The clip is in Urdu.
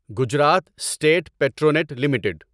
Gujarat state Petronet limited